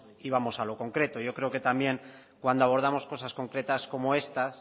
y vamos a lo concreto yo creo que también cuando abordamos cosas concretas como estas